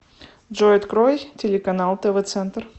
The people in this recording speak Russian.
джой открой телеканал тв центр